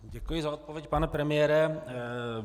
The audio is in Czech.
Děkuji za odpověď, pane premiére.